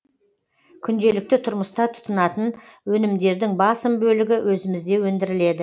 күнделікті тұрмыста тұтынатын өнімдердің басым бөлігі өзімізде өндіріледі